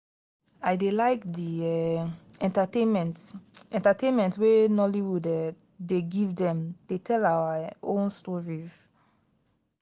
i dey like di um entertainment entertainment wey nollywood um dey give dem dey tell our um own stories.